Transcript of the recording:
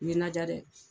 Ɲinan diya dɛ